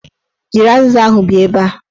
Jiri azịza ahụ bịa ebe a!